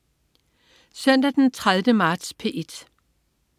Søndag den 30. marts - P1: